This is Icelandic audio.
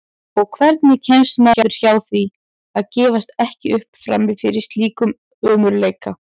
Og hvernig kemst maður hjá því að gefast ekki upp frammi fyrir slíkum ömurleika?